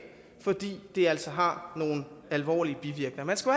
fordi det altså har nogle alvorlige bivirkninger man skal